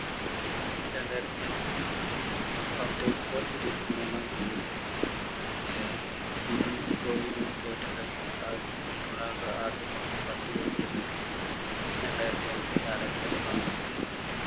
രണ്ടായിരത്തിഅഞ്ച് October ഇരുപത്തിമൂന്നാം തീയ്യതി ആഹ് തോറ്റ കളിയിൽ ആ season ൽ റൊണാൾഡോ ആകെ മൊത്തം പത്തു goal കൾ നേടി രണ്ടായിരത്തിഅഞ്ചിൽ ആരാധകർ റൊണാൾഡോവിനെ